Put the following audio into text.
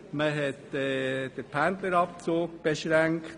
: Man hat den Pendlerabzug beschränkt.